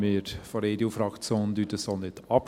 Wir von der EDU-Fraktion streiten dies nicht ab.